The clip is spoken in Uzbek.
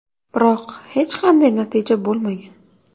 Biroq, hech qanday natija bo‘lmagan.